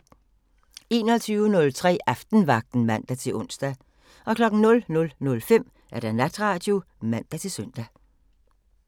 21:03: Aftenvagten (man-ons) 00:05: Natradio (man-søn)